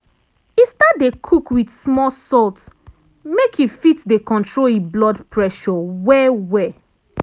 e start dey cook wit small salt make e fit dey control e blood pressure well well.